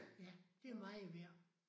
Ja. Det meget værd